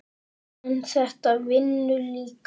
en þetta vinnur líka.